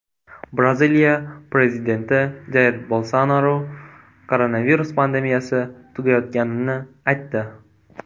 Braziliya prezidenti Jair Bolsonaru koronavirus pandemiyasi tugayotganini aytdi.